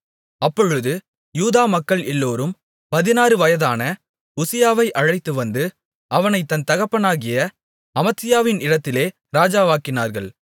அப்பொழுது யூதா மக்கள் எல்லோரும் பதினாறு வயதான உசியாவை அழைத்துவந்து அவனை அவன் தகப்பனாகிய அமத்சியாவின் இடத்திலே ராஜாவாக்கினார்கள்